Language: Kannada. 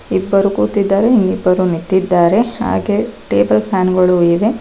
ಇಬ್ಬರು ಕೂತಿದ್ದಾರೆ ಇನ್ ಇಬ್ಬರು ನಿತ್ತಿದ್ದಾರೆ ಹಾಗೆ ಟೇಬಲ್ ಫ್ಯಾನ್ ಗಳು ಇವೆ.